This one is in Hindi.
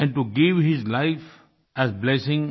and to give his life as blessing